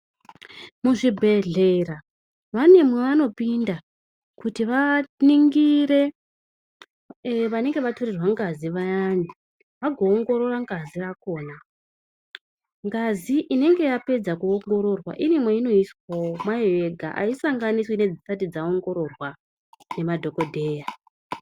Muzvibhedhlera vane mwavanopinda kuti vaningire vanenge vatorerwe ngazi vayani vagoongorora ngazi yakhona ngazi inenge yapedza kuongororwa ine mweinoiswawo mayo yega aisanganiswi nedzisati dzaongoroorwa nemadhokodheya.